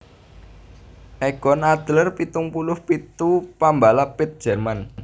Egon Adler pitung puluh pitu pambalap pit Jerman